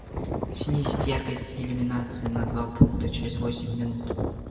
снизить яркость иллюминации на два пункта через восемь минут